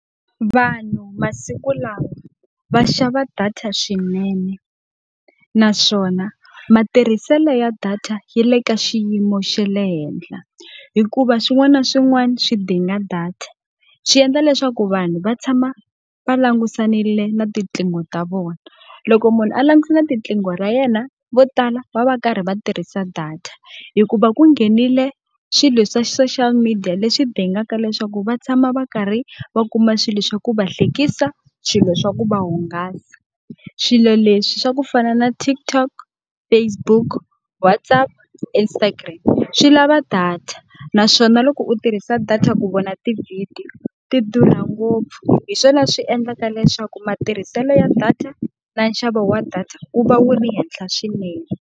Vanhu masiku lawa va xava data swinene, naswona matirhiselo ya data yi le ka xiyimo xe le henhla. Hikuva swin'wana na swin'wana swi dinga data, swi endla leswaku vanhu va tshama va langutisanile na tinqingho ta vona. Loko munhu a langutisana na riqingho ra yena, vo tala va va va karhi va tirhisa data. Hikuva ku nghenile swilo swa social media leswi dingaka leswaku va tshama va karhi va kuma swilo swa ku va hlekisa, swilo swa ku va hungasa. Swilo leswi swa ku fana na TikTok, Facebook, Whatsapp, Instagram, swi lava data. Naswona loko u tirhisa data ku vona tivhidiyo ti durha ngopfu, hi swona swi endlaka leswaku matirhiselo ya data na nxavo wa data wu va wu ri henhla swinene.